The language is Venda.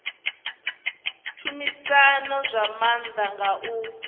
tshumisano zwa maanḓa nga u